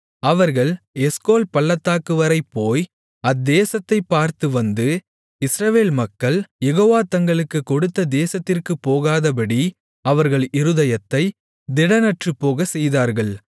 அவர்கள் எஸ்கோல் பள்ளத்தாக்கு வரை போய் அத்தேசத்தைப் பார்த்து வந்து இஸ்ரவேல் மக்கள் யெகோவா தங்களுக்குக் கொடுத்த தேசத்திற்குப் போகாதபடி அவர்கள் இருதயத்தைத் திடனற்றுப்போகச்செய்தார்கள்